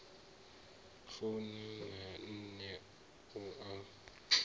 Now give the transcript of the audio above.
funa na nṋe u a